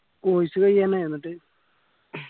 course കയ്യാനായ എന്നിട്ട്